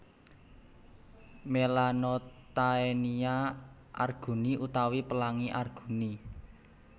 Melanotaenia arguni utawi Pelangi Arguni